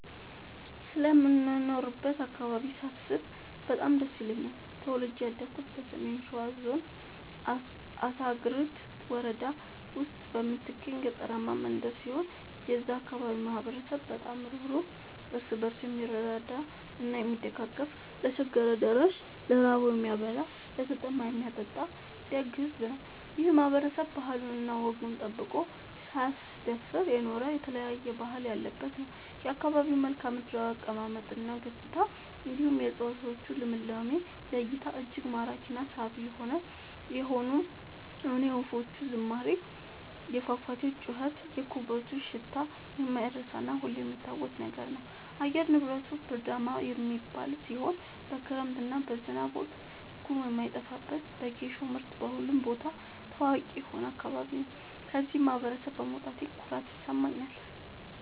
ስለምኖርበት አካባቢ ሳስብ በጣም ደስ ይለኛል። ተወልጄ ያደኩት በሰሜን ሸዋ ዞን አሳግርት ወረዳ ውስጥ በምትገኝ ገጠራማ መንደር ሲሆን የዛ አካባቢ ማህበረሰብ በጣም ሩህሩህ ÷ እርስ በርሱ የምረዳዳ እና የሚደጋገፍ ለቸገረው ደራሽ ÷ ለራበው የሚያበላ ÷ለተጠማ የሚያጠጣ ደግ ሕዝብ ነው። ይህ ማህበረሰብ ባህሉን እና ወጉን ጠብቆ ሳያስደፍር የኖረ የተለያየ ባህል ያለበት ነው። የአካባቢው መልከዓምድራው አቀማመጥ እና ገጽታ እንዲሁም የ እፀዋቶቹ ልምላሜ ለ እይታ እጅግ ማራኪ እና ሳቢ የሆነ የወፎቹ ዝማሬ የፏፏቴው ጩኸት የኩበቱ ሽታ የማይረሳ እና ሁሌም የሚታወስ ነገር ነው። አየር ንብረቱ ብርዳማ የሚባል ሲሆን በክረምት እና በዝናብ ወቅት ጉም የማይጠፋበት በጌሾ ምርት በሁሉም ቦታ ታዋቂ የሆነ አካባቢ ነው። ከዚህ ማህበረሰብ በመውጣቴ ኩራት ይሰማኛል።